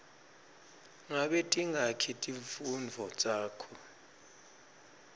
ngabe tingaki timfundvo takho